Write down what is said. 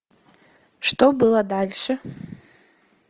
что было дальше